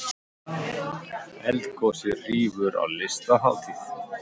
Eldgosið hrífur á Listahátíð